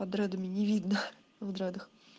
а дредами не видно в дредах